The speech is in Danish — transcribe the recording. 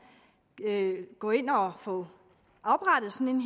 gå ind og få oprettet sådan